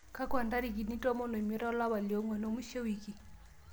keeku ntarikini tomon o imiet olapa lo onguan mwisho e wiki